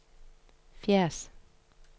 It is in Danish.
Fjends